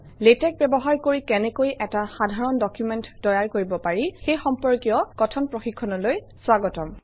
LaTeX ব্যৱহাৰ কৰি কেনেকৈ এটা সাধাৰণ ডকুমেণ্ট তৈয়াৰ কৰিব পাৰি সেই সম্পৰ্কীয় কথন প্ৰশিক্ষণলৈ স্বাগতম